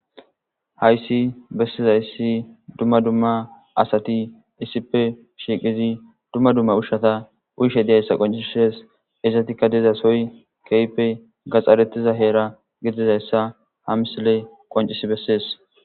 Hayssi bessizayssi dumma dumma asati issippe shiiqizi dumma dumma ushshata uyshe diyayssa qoncisshees izatikka dizasoy keyppe gaxxarettiza heera gidizayssa hamsile qoncisi bessees.